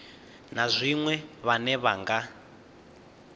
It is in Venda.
na zwiṅwe vhane vha nga